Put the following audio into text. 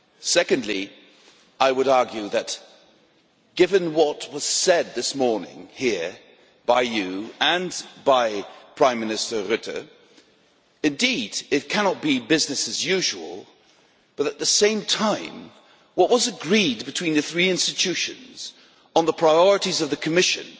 Secondly, I would argue, given what was said this morning here by you and by Prime Minister Rutte, that indeed it cannot be business usual, but at the same time, what was agreed between the three institutions on the priorities of the Commission